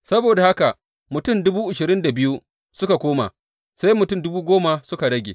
Saboda haka mutum dubu ashirin da biyu suka koma, sai mutum dubu goma suka rage.